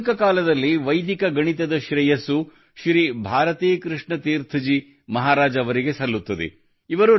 ಆಧುನಿಕ ಕಾಲದಲ್ಲಿ ವೈದಿಕ ಗಣಿತದ ಶ್ರೇಯಸ್ಸು ಶ್ರೀ ಭಾರತೀ ಕೃಷ್ಣ ತೀರ್ಥ ಜಿ ಮಹಾರಾಜರಿಗೆ ಸಲ್ಲುತ್ತದೆ